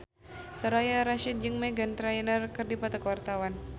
Soraya Rasyid jeung Meghan Trainor keur dipoto ku wartawan